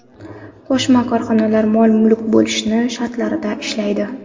Qo‘shma korxonalar mol-mulk bo‘linishi shartlarida ishlaydi.